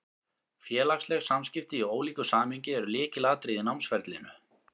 Félagsleg samskipti, í ólíku samhengi, eru lykilatriði í námsferlinu.